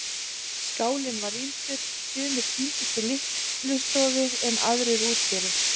Skálinn var rýmdur, sumir tíndust í litlustofu en aðrir út fyrir.